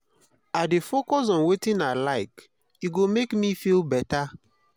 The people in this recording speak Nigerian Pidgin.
i dey focus on wetin i like e go make me feel beta